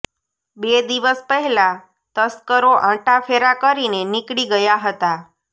બે દિવસ પહેલા તસ્કરો આંટાફેરા કરીને નીકળી ગયા હતા